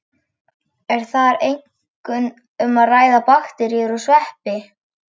Er þar einkum um að ræða bakteríur og sveppi.